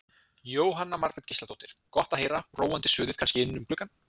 Jóhanna Margrét Gísladóttir: Gott að heyra róandi suðið kannski inn um gluggann?